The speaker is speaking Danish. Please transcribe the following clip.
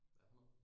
Hvad for noget?